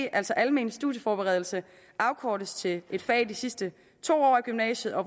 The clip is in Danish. at altså almen studieforberedelse afkortes til et fag i de sidste to år af gymnasiet og